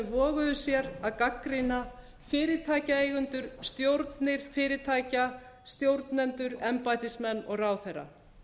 voguðu sér að gagnrýna fyrirtækjaeigendur stjórnir fyrirtækja stjórnendur embættismenn og ráðherra